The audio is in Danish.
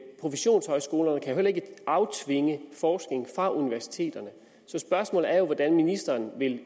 professionshøjskolerne kan jo heller ikke aftvinge forskning fra universiteterne så spørgsmålet er jo hvordan ministeren